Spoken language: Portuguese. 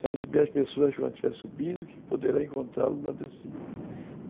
Trata bem as pessoas quando estiver subindo, que poderá encontrá-los na descida.